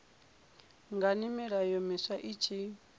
ngani milayo miswa i tshi